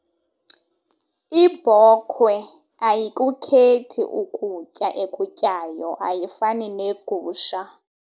Ibhokhwe ayikukhethi ukutya ekutyayo ayifani negusha.